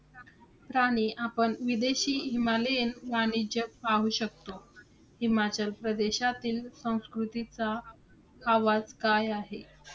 प्राणी आपण विदेशी हिमालयन वाणिज्य पाहू शकतो. हिमाचल प्रदेशातील संस्कृतीचा आवाज काय आहे?